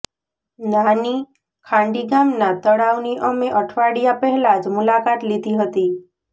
નાની ખાંડી ગામના તળાવની અમે અઠવાડિયા પહેલા જ મુલાકાત લીધી હતી